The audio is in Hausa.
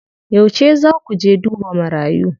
Yauce zaa ku je duba marayu?